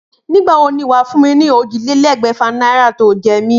Nígbà wo ni wàá fún mi ni ójìlélégbèfà náírà tí o jé mi?